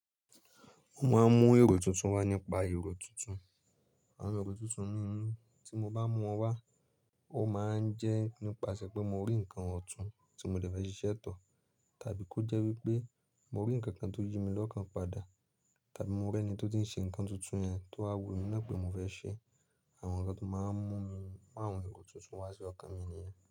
Mo máa ń mú èrò tuntun wá nípa èrò tuntun. Àwọn èrò tuntun mímu tí mo bá mú wọn wá, ó máa ń jẹ́ nípasẹ̀ pé mo rí nǹkan ọ̀tún tí mo le dẹ́ ṣiṣẹ́ tọ tàbí kí ó jẹ́ wípé mo rí ǹkan kan tó yí mi lọ́kàn padà, tàbí mo rí ẹni tó ti ń ṣe ǹkan tuntun yẹn tó wa wù mí ná pé mo fẹ́ ṣe. Àwọn ǹkan tó máa ń mú mi mu àwọn èrò tuntun wá sí ọkàn mi nìyẹn.